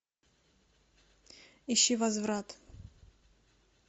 ищи возврат